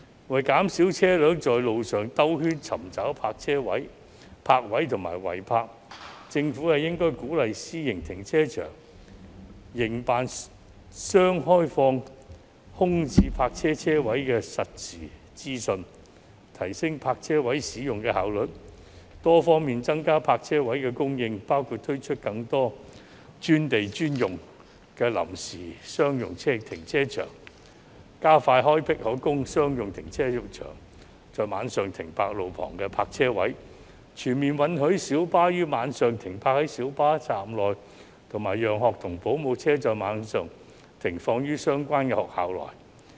為減少車輛在路上繞圈尋找泊位及違泊，政府應鼓勵私營停車場營辦商開放空置泊車位的實時資訊，提升泊車位使用的效率，多方面增加泊車位的供應，包括推出更多"專地專用"的臨時商用停車場，加快開闢可供商用車輛在晚上停泊的路旁泊車位，全面允許小巴於晚上停泊在小巴站內，以及讓學童保姆車在晚上停放於相關學校內。